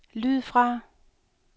lyd fra